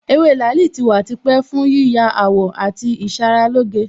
Ewé làálì tí wà tipẹ́ fún yíya àwọ̀ àti ìṣaralóge